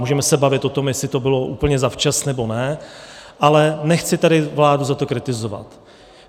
Můžeme se bavit o tom, jestli to bylo úplně zavčas, nebo ne, ale nechci tady vládu za to kritizovat.